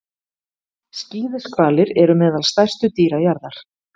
Skíðishvalir eru meðal stærstu dýra jarðar.